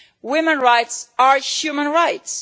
Women's rights are human rights.